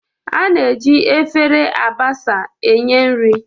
A na-eji efere mbasa enye nri.